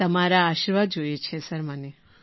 તમારા આશીર્વાદ જોઈએ છે સર મને